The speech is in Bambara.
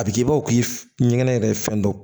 A bɛ k'i bɔ o k'i ɲɛgɛnɛ yɛrɛ fɛn dɔ